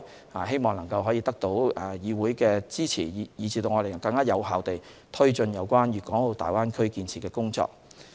我們希望能獲得議會的支持，使我們能更有效地推進有關粵港澳大灣區建設的工作。